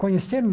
Conheceram?